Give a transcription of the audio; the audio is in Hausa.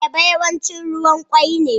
Ayaba yawanci ruwan kwoi ne.